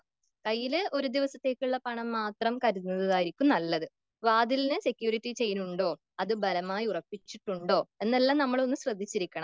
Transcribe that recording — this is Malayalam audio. .കയ്യില് ഒരു ദിവസത്തേക്കുള്ള പണം മാത്രം കരുതുന്നതായിരിക്കും നല്ലത്.വാതിലിന് സെക്യൂരിറ്റി ചെയിൻ ഉണ്ടോ അത് ബലമായി ഉറപ്പിച്ചിട്ടുണ്ടോ എന്നെല്ലാം നമ്മളൊന്ന് ശ്രദ്ധിച്ചിരിക്കണം.